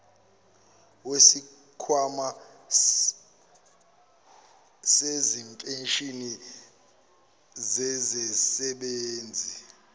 wesikhwama sezimpesheni zezisebenzi